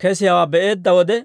kesiyaawaa be'eedda wode,